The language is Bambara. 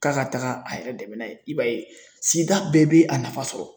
K'a ka taga a yɛrɛ dɛmɛ n'a ye i b'a ye sigida bɛɛ bɛ a nafa sɔrɔ.